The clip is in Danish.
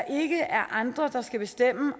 ikke er andre der skal bestemme